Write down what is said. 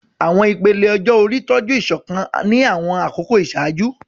Àwọn ìpele ọjọ́ orí tọ́jú ìṣọ̀kan ní àwọn àkókò ìṣáájú.